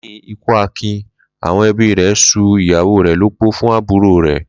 Lé̩yìn ikú Akin, àwo̩n e̩bí rè̩ s̩ú ìyàwó rè̩ lópó fún àbúrò̩ rè̩